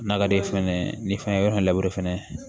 N'a ka di ye fɛnɛ ni fɛn ye yɔrɔ in labure fɛnɛ